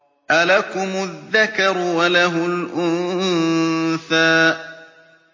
أَلَكُمُ الذَّكَرُ وَلَهُ الْأُنثَىٰ